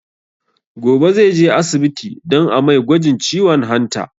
Gobe zai je asibiti don a mai gwajin ciwon hanta